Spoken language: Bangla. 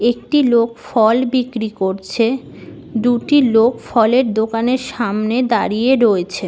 একটি লোক ফল বিক্রি করছে। দুটি লোক ফলের দোকানের সামনে দাঁড়িয়ে রয়েছে।